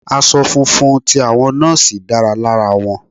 Aṣọ funfun ti àwọn Nọ́ọ́sì dára lára wọn.